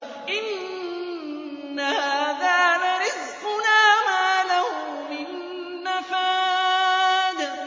إِنَّ هَٰذَا لَرِزْقُنَا مَا لَهُ مِن نَّفَادٍ